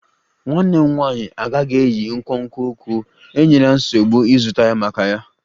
Nwanne m nwanyị agaghị eyi nkwonkwo ụkwụ, enyela nsogbu ịzụta ya maka ya